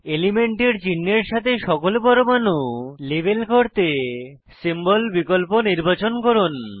এলিমেন্টের সংশ্লিষ্ট চিনহের সাথে সকল পরমাণু লেবেল করতে সিম্বল বিকল্প নির্বাচন করুন